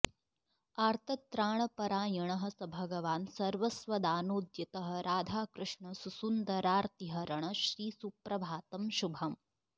आर्तत्राणपरायणः स भगवान् सर्वस्वदानोद्यतः राधाकृष्ण सुसुन्दरार्तिहरण श्रीसुप्रभातं शुभम्